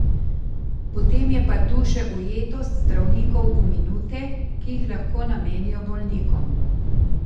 Potem je pa tu še ujetost zdravnikov v minute, ki jih lahko namenijo bolnikom.